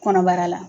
Kɔnɔbara la